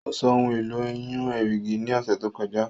Ó sọ ohun èlò ìyún erìgì ní ọ̀sẹ̀ tó kọjá